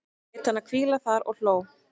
Lét hana hvíla þar og hló.